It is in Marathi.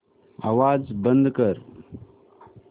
आवाज बंद कर